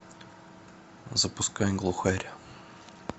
запускай глухарь